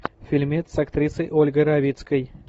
фильмец с актрисой ольгой равицкой